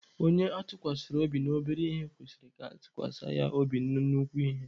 Onye atụkwasara obi na obere ihe kwesịrị ka atụkwasa ya obi na nnukwu ihe.